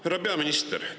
Härra peaminister!